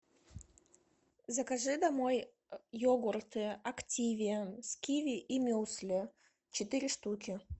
закажи домой йогурты активия с киви и мюсли четыре штуки